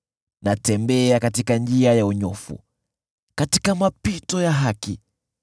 Natembea katika njia ya unyofu katika mapito ya haki,